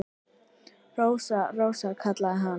Rósa, Rósa, kallaði hann.